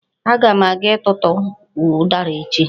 Aga m aga ịtụtụ ụdara echi.